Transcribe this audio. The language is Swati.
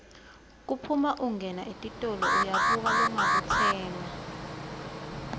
kuphuma ungena etitolo uyabuka longakutsenga